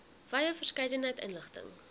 wye verskeidenheid inligting